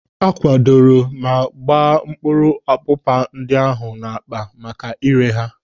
A kwadoro ma gbaa mkpụrụ ọpụpa ndị ahụ n'akpa maka ire ha.